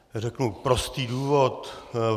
Řeknu prostý důvod.